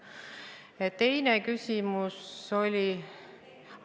Ja teine küsimus oli?